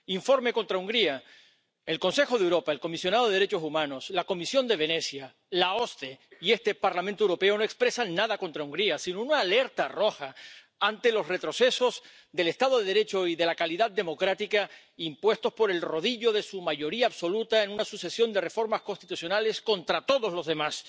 Informe contra Hungría el Consejo de Europa, el Comisionado para los Derechos Humanos, la Comisión de Venecia, la OSCE y este Parlamento Europeo no expresan nada contra Hungría, sino una alerta roja ante los retrocesos del Estado de Derecho y de la calidad democrática impuestos por el rodillo de su mayoría absoluta en una sucesión de reformas constitucionales contra todos los demás.